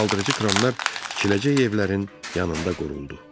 Qaldırıcı kranlar tikiləcək evlərin yanında quruldu.